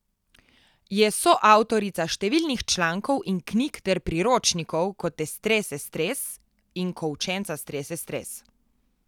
Je soavtorica številnih člankov in knjig ter priročnikov Ko te strese stres in Ko učenca strese stres.